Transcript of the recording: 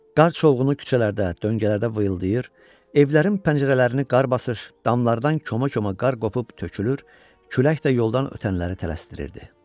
Qar çovğunu küçələrdə, döngələrdə vıyıldayır, evlərin pəncərələrini qar basır, damlardan koma-koma qar qopub tökülür, külək də yoldan ötənləri tələsdirirdi.